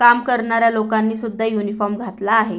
काम करणाऱ्या लोकानी सुद्धा उनिफॉर्म घातला आहे.